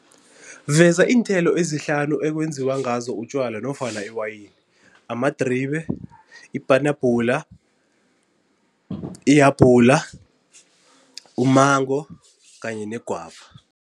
Veza iinthelo ezihlanu ekwenziwa ngazo utjwala nofana iwayini. Amadribe, ipanabhula, ihabula, u-mango kanye negwava.